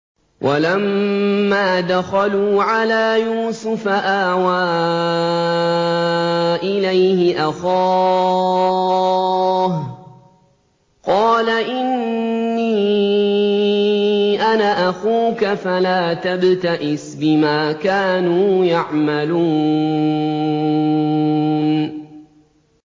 وَلَمَّا دَخَلُوا عَلَىٰ يُوسُفَ آوَىٰ إِلَيْهِ أَخَاهُ ۖ قَالَ إِنِّي أَنَا أَخُوكَ فَلَا تَبْتَئِسْ بِمَا كَانُوا يَعْمَلُونَ